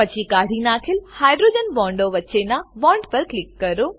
પછી કાઢી નાખેલ હાઇડ્રોજન બોન્ડો વચ્ચેનાં બોન્ડ પર ક્લિક કરો